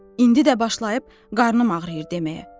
İndi də başlayıb qarnım ağrıyır deməyə.